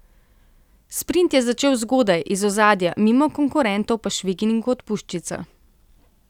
Sprint je začel zgodaj, iz ozadja, mimo konkurentov pa švignil kot puščica.